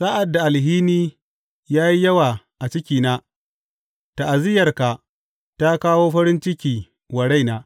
Sa’ad da alhini ya yi yawa a cikina, ta’aziyyarka ta kawo farin ciki wa raina.